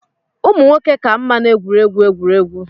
Ụmụ nwoke ka mma n'egwuregwu egwuregwu